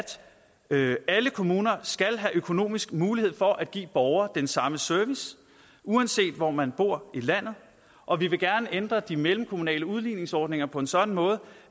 alle kommuner skal have økonomisk mulighed for at give borgere den samme service uanset hvor man bor i landet og vi vil gerne ændre de mellemkommunale udligningsordninger på en sådan måde